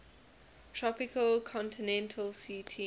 tropical continental ct